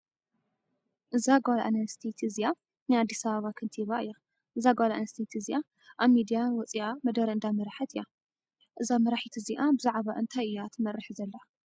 እዛ ጓል ኣነስተይቲ እዚኣ ናይ ኣዲስ ኣበባ ከንቲባ እያ። እዛ ጓለ ኣነስተይቲ እዚ ኣብ ሚድያ ወፅኣ መደረ እንዳመረሓት ኣላ። እዛ መራሒት እዚኣ ብዛዕባ እነታይ እያ ትመርሕ ዘላ?